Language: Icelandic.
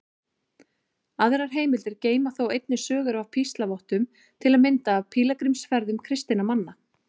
Aðrar heimildir geyma þó einnig sögur af píslarvottum, til að mynda af pílagrímsferðum kristinna manna.